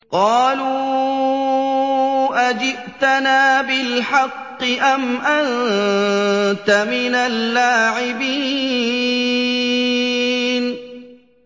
قَالُوا أَجِئْتَنَا بِالْحَقِّ أَمْ أَنتَ مِنَ اللَّاعِبِينَ